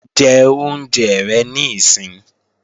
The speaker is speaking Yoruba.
Jẹ oúnjẹ rẹ níìsín!